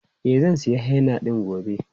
E, zan sayi henna ɗin gobe.